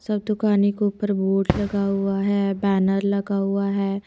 सब दुकानें को ऊपर बोर्ड लगा हुआ है बैनर लगा हुआ है।